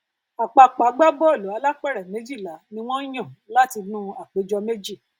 àpapọ agbábọọlù alápèrẹ méjìlá ni wọn yàn látinú àpéjọ méjì